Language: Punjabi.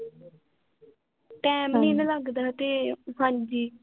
ਟਾਈਮ ਨੀ ਨਾ ਲਗਦਾ ਤੇ, ਹਾਂਜੀ